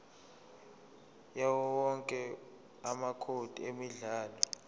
yawowonke amacode emidlalo